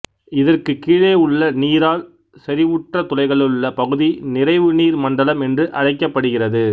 இதற்கு கீழே உள்ள நீரால் செறிவுற்ற துளைகளுள்ள பகுதி நிறைவு நீர் மண்டலம் என்று அழைக்கப்படுகிறது